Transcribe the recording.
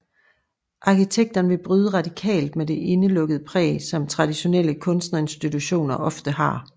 Arkitekterne ville bryde radikalt med det indelukkede præg som traditionelle kunstinstitutioner ofte har